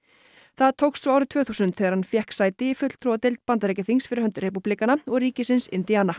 það tókst svo árið tvö þúsund þegar hann fékk sæti í fulltrúadeild Bandaríkjaþings fyrir hönd repúblikana og ríkisins